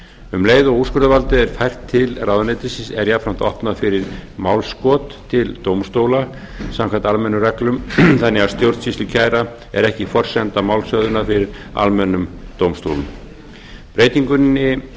um leið og úrskurðarvaldið er fært til ráðuneytisins er jafnframt opnað fyrir málskot til dómstóla samkvæmt almennum reglum þannig að stjórnsýslukæra er ekki forsenda málshöfðunar fyrir almennum dómstólum breytingunni